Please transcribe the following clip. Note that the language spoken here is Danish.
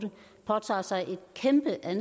at